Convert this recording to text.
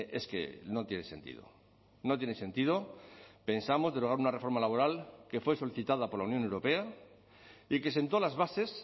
es que no tiene sentido no tiene sentido pensamos derogar una reforma laboral que fue solicitada por la unión europea y que sentó las bases